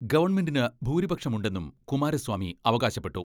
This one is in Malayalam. ഗവൺമെന്റിന് ഭൂരിപക്ഷം ഉണ്ടെന്നും കുമാര സ്വാമി അവകാശപ്പെട്ടു.